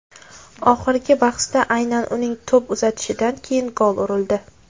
Oxirgi bahsda aynan uning to‘p uzatishidan keyin gol urildi.